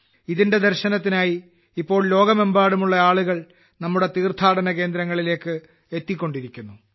ഇതിന്റെ ദർശനത്തിനായി ഇപ്പോൾ ലോകമെമ്പാടുമുള്ള ആളുകൾ നമ്മുടെ തീർഥാടനകേന്ദങ്ങളിലേക്ക് എത്തിക്കൊണ്ടിരിക്കുന്നു